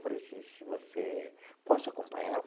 Falei assim se você posso acompanhar?